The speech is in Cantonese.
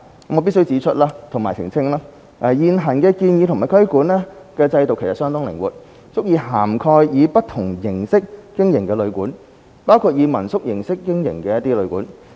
我必須指出及澄清，現行及建議的規管制度相當靈活，足以涵蓋以不同形式經營的旅館，包括以民宿形式經營的旅館。